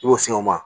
I b'o si o ma